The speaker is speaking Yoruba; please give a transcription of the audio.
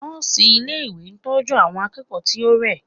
Nọ́ọ̀sì ilé ìwé ń tọ́jú àwọn akẹ́kọ̀ọ́ tí ó rẹ̀.